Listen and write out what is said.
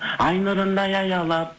ай нұрындай аялап